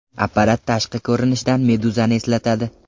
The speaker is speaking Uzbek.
Apparat tashqi ko‘rinishidan meduzani eslatadi.